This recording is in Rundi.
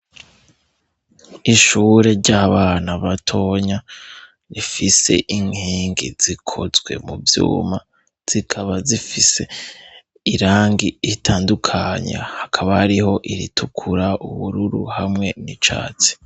Ishure ry'abana batonya rifise inkenge zikozwe mu vyuma zikaba zifise irangi itandukanya hakaba hariho iritukura, ubururu hamwe n'icatsi.